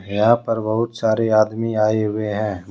यहां पर बहुत सारे आदमी आए हुए हैं।